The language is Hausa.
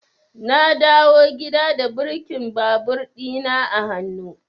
Na dawo gida da birkin babur ɗina a hannu.